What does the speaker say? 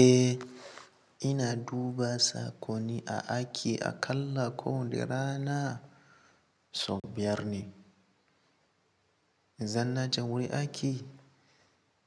Eh ina duba sakoni a aƙi aƙalla ko wanda rana sau biyar ne. Zan naje wurin aiƙi